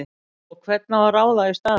Og hvern á að ráða í staðinn?!